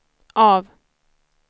av